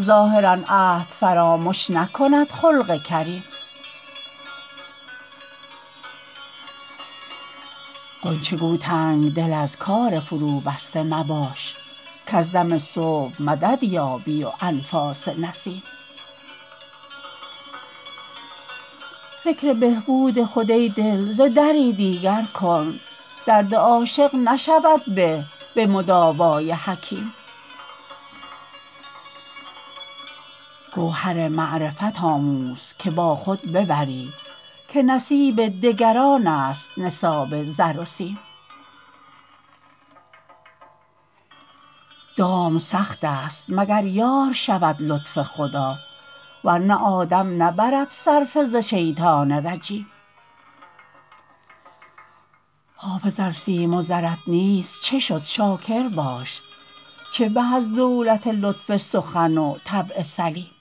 ظاهرا عهد فرامش نکند خلق کریم غنچه گو تنگ دل از کار فروبسته مباش کز دم صبح مدد یابی و انفاس نسیم فکر بهبود خود ای دل ز دری دیگر کن درد عاشق نشود به به مداوای حکیم گوهر معرفت آموز که با خود ببری که نصیب دگران است نصاب زر و سیم دام سخت است مگر یار شود لطف خدا ور نه آدم نبرد صرفه ز شیطان رجیم حافظ ار سیم و زرت نیست چه شد شاکر باش چه به از دولت لطف سخن و طبع سلیم